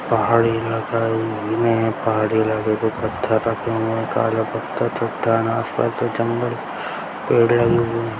पहाड़ी इलाका है पहाड़ी इलाके पे पत्थर रखे हुए हैं काला पत्थर पहाड़ी इलाका जंगल पेड़ लगे हुए हैं।